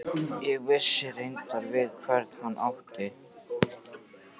Ég vissi reyndar við hvern hann átti.